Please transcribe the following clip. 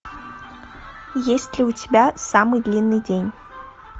есть ли у тебя самый длинный день